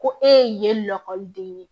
Ko e ye lakɔliden ye